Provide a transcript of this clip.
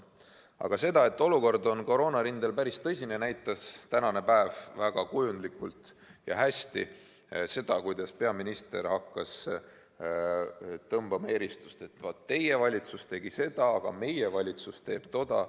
Aga seda, et olukord koroonarindel on päris tõsine, näitas tänane päev väga kujundlikult ja hästi – seda, kuidas peaminister hakkas eristama, et teie valitsus tegi seda, aga meie valitsus teeb toda.